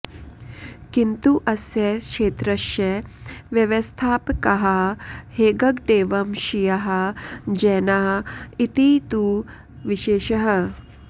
किन्तु अस्य क्षेत्रस्य व्यवस्थापकाः हेग्गडेवंशीयाः जैनाः इति तु विशेषः